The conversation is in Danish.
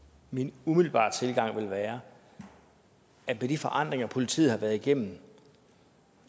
min umiddelbare tilgang vil være at med de forandringer politiet har været igennem